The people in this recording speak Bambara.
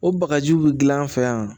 O bagajiw bi gilan an fɛ yan